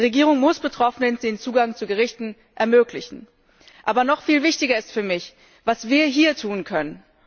Die Regierung muss Betroffenen den Zugang zu Gerichten ermöglichen. Aber noch viel wichtiger ist für mich, was wir hier tun können.